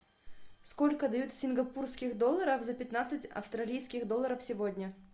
сколько дают сингапурских долларов за пятнадцать австралийских долларов сегодня